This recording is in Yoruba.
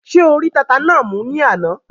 Ṣé o rí tata náà mú ní àná?